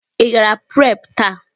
Ị gara pre taa?